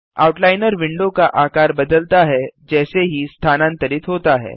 outliner window का आकार बदलता है जैसे ही स्थानांतरित होता है